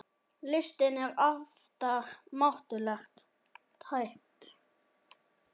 Listin er afar máttugt tæki.